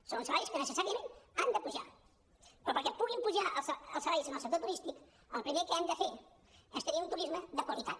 són uns salaris que necessàriament han de pujar però perquè puguin pujar els salaris en el sector turístic el primer que hem de fer és tenir un turisme de qualitat